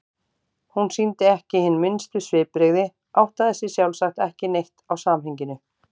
Hún sýndi ekki hin minnstu svipbrigði, áttaði sig sjálfsagt ekki neitt á samhenginu.